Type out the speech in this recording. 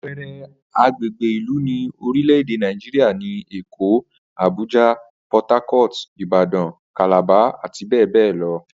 Àpe̩e̩re̩ agbègbè ìlú ní orílè̩-èdè Nàìjíríà ni Èkó, Abuja, Port Harcourt, Ìbàdàn, Calabar, àti bé̩è̩ bé̩è̩ lo̩